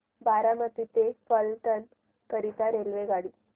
बारामती ते फलटण करीता रेल्वेगाडी